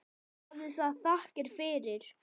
Hafi það þakkir fyrir.